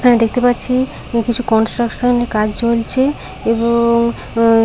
এখানে দেখতে পাচ্ছি কিছু কনস্ট্রাকশন -এর কাজ চলছে এবং উম--